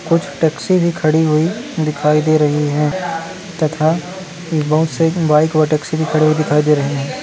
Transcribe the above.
कुछ टॅक्सी भी खड़ी हुई दिखाई दे रही है तथा बहुत से बाइक और टॅक्सी भी खड़ी हुई दिखाई दे रही है।